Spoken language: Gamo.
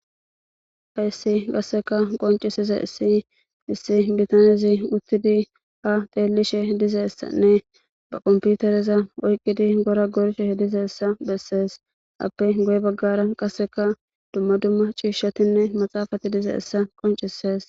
Hayssi qasseka qonccissizayssi issi bithanezi uththidi haa xeellishe dizayssanne ba komppitereza oyqqidi gora gorishe dizeessa bessees; appe guye baggara qasseka dumma dumma ciishshathinne maxaafathi dizayssa qonccissees.